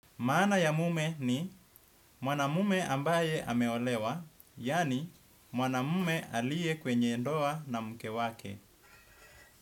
Maana ya mume ni mwana mume ambaye ameolewa, yani mwana mume alie kwenye ndoa na mke wake.